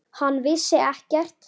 Hann vissi ekkert.